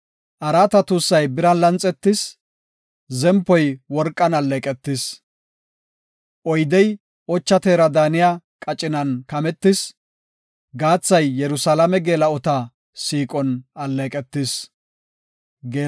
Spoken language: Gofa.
Araata tuussay biran lanxetis; zempoy worqan alleeqetis. Oydey ocha teera daaniya qacinan kametis; gaathay Yerusalaame geela7ota siiqon alleeqetis.